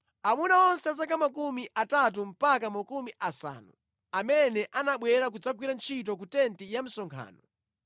Amuna onse a zaka makumi atatu mpaka makumi asanu amene anabwera kudzagwira ntchito ku tenti ya msonkhano,